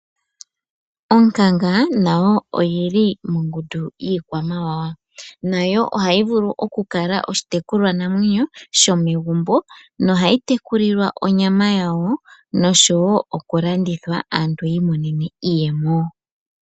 Onkanga nayo oyi li mongundu yiikwamawawa, nayo oha yi vulu oku kala oshitekulwa namwenyo shomegumbo, no ha yi tekuliwa obyama yawo nosho wo oku landithwa aantu yi imonene iiyemo.